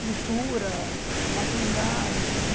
pintura, materiais.